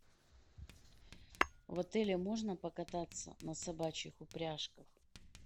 в отеле можно покататься на собачьих упряжках